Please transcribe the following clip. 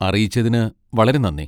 അറിയിച്ചതിന് വളരെ നന്ദി.